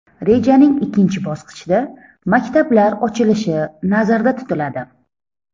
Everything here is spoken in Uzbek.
Rejaning ikkinchi bosqichida maktablar ochilishi nazarda tutiladi.